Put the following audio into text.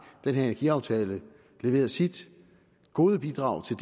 den her energiaftale leveret sit hovedbidrag til